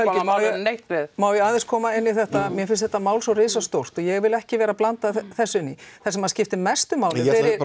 neitt við má ég aðeins koma inn í þetta mér finnst þetta mál svo risastórt ég vil ekki vera að blanda þessu inn í það sem skiptir mestu máli